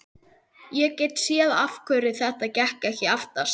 Ég get séð af hverju þetta gekk ekki aftast.